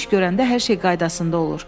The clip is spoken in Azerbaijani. Mənlə iş görəndə hər şey qaydasında olur.